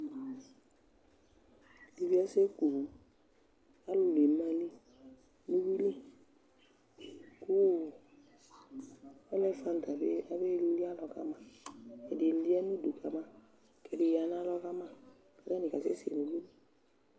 Ɛdɩ bɩ asɛku owu Alʋ la eme ayili nʋ uyui li kʋ ɔ elefant abe abeli alɔ ka ma Ɛdɩ ya nʋ udu ka ma kʋ ɛdɩ ya nʋ alɔ ka ma kʋ atanɩ kasɛsɛ nʋ uyui li